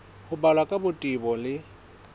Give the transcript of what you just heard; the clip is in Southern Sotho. ho balwa ka botebo le